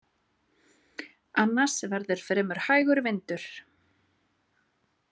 Annars verði fremur hægur vindur